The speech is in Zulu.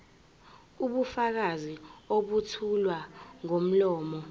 ubufakazi obethulwa ngomlomo